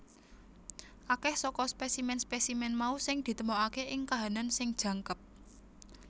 Akeh saka spesimen spesimen mau sing ditemokake ing kahanan sing jangkep